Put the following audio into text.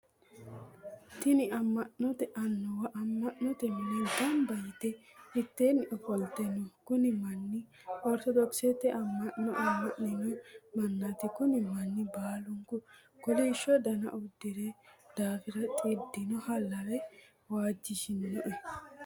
Tinni ama'note Annuwa ama'note mine gamba yite miteenni ofolte no. Kunni manni ortodokisete ama'no amannino manaati konni manni baalunku kolisho danna udirino daafira xidinoha lawe waajishinoe.